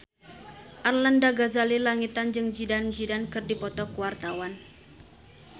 Arlanda Ghazali Langitan jeung Zidane Zidane keur dipoto ku wartawan